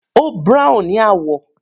Ó brown ni àwọ̀.